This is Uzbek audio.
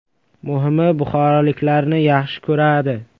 “Muhimi, buxoroliklarni yaxshi ko‘radi”.